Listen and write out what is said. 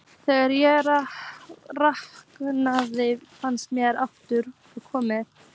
Þegar ég rankaði við mér aftur var konan farin.